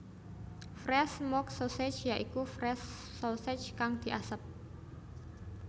Fresh Smoke Sausage ya iku Fresh Sausage kang diasep